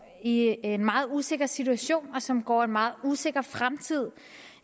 i en meget usikker situation og som går en meget usikker fremtid